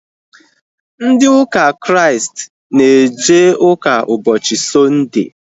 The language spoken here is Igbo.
Ndị ụka Kraịst na eje ụka ụbọchị sọnde